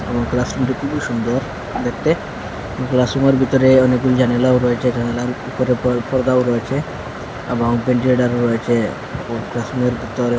এবং ক্লাসরুম -টি খুবই সুন্দর দেখতে এবং ক্লাসরুম -এর ভিতরে অনেকগুলি জানালাও রয়েছে জানালার উপরে পর পর্দাও রয়েছে এবং ভেন্টিলেটর -ও রয়েছে এবং ক্লাসরুম -এর ভিতরে --